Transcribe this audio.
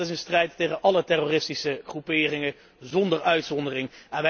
Dat is een strijd tegen álle terroristische groeperingen, zonder uitzondering.